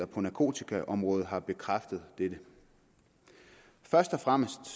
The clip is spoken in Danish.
på narkotikaområdet har bekræftet dette først og fremmest